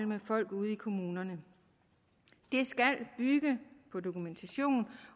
med folk ude i kommunerne det skal bygge på dokumentation